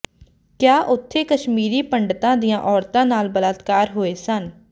ਕਿਹਾ ਉਥੇ ਕਸ਼ਮੀਰੀ ਪੰਡਤਾਂ ਦੀਆਂ ਔਰਤਾਂ ਨਾਲ ਬਲਾਤਕਾਰ ਹੋਏ ਸਨ